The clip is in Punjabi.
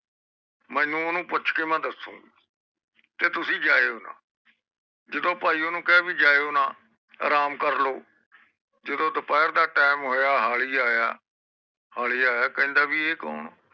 ਮੇਨੂ ਓਹਨੂੰ ਮੈਂ ਪੁੱਛ ਕ ਦਸੂਗੀ ਗਈ ਤੇ ਤੁਸੀ ਜੈਯੋ ਨਾ ਜਦੋ ਓਹਨੂੰ ਕਿਹਾ ਤੁਸੀ ਜੈਯੋ ਨਾ ਅਰਾਮ ਕਰਲੋ ਜਦੋ ਦੁਪਹਿਰ ਦਾ ਟੀਮ ਓਹੁਆ ਹਾਲੀ ਆਯਾ ਹਾਲੁ ਆਯਾ ਕਹਿੰਦਾ ਵੀ ਇਹ ਕੌਣ ਆ